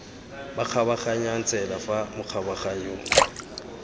ba kgabaganyang tsela fa makgabaganyong